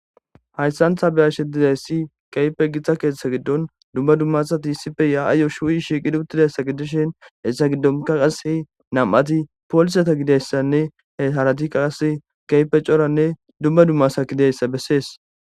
hayssan tha beyashe dizayssi kehipe githa keeththa giddon dumma dumma asati issipe ya7ayyo shuu7i shiiqidi uttidayssa giddishin hessa giddonka qasi nam7ati pooliseta gidiyassanne he haratika qasse kehipe coranne dumma dumma asa gideyssa bessees